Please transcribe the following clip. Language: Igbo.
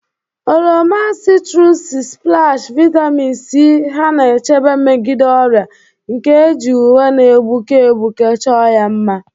Oroma 'citrusy splash, vitamin C ha na-echebe megide ọrịa, nke e ji uwe na-egbuke egbuke chọọ ya mma.